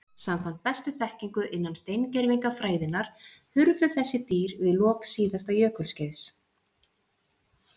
Samkvæmt bestu þekkingu innan steingervingafræðinnar hurfu þessi dýr við lok síðasta jökulskeiðs.